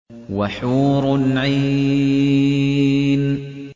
وَحُورٌ عِينٌ